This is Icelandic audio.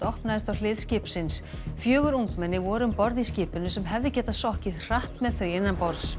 opnaðist á hlið skipsins fjögur ungmenni voru um borð í skipinu sem hefði getað sokkið hratt með þau innanborðs